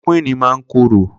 Klórókwìní mà n kóró